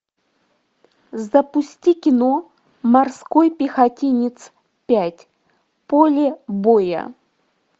запусти кино морской пехотинец пять поле боя